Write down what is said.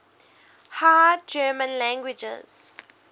high german languages